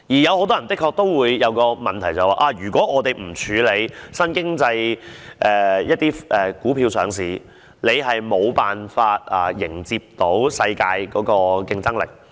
很多人便會問，如果我們不讓新經濟成分的股票上市，是否便無法迎接世界的競爭力？